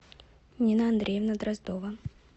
нина андреевна дроздова